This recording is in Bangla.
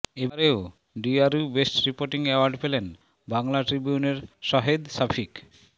এবারও ডিআরইউ বেস্ট রিপোর্টিং অ্যাওয়ার্ড পেলেন বাংলা ট্রিবিউনের শাহেদ শফিক